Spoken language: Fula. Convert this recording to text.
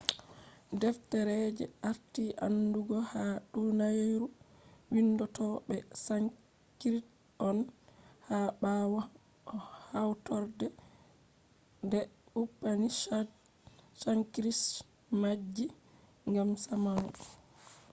deftere je arti aandugu ha duniyaru windotto be sanskrit on. ha ɓawo hawtorde upanishads sanskrit majji ngam zamanu